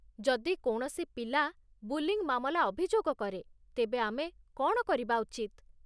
ଯଦି କୌଣସି ପିଲା 'ବୁଲିଙ୍ଗ୍' ମାମଲା ଅଭିଯୋଗ କରେ ତେବେ ଆମେ କ'ଣ କରିବା ଉଚିତ?